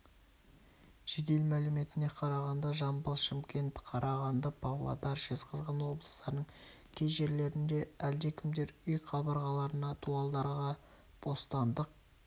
жедел мәліметіне қарағанда жамбыл шымкент қарағанды павлодар жезқазған облыстарының кей жерлерінде әлдекімдер үй қабырғаларына дуалдарға бостандық